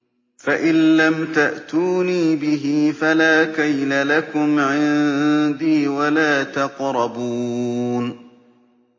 فَإِن لَّمْ تَأْتُونِي بِهِ فَلَا كَيْلَ لَكُمْ عِندِي وَلَا تَقْرَبُونِ